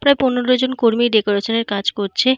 প্রায় পনেরো জন কর্মী ডেকোরেশন -এর কাজ করছে।